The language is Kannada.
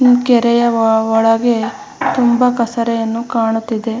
ಇನ್ ಕೆರೆಯ ವ ವ ಒಳಗೆ ತುಂಬಾ ಕಸರೆಯನ್ನು ಕಾಣುತ್ತಿದೆ .